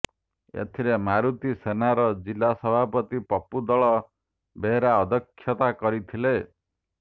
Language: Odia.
ଏଥିରେ ମାରୁତି ସେନାର ଜିଲ୍ଲା ସଭାପତି ପପୁଦଳ ବେହେରା ଅଧ୍ୟକ୍ଷତା କରିଥିଲେ